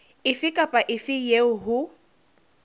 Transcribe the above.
efe kapa efe eo ho